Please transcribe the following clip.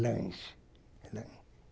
Lanche.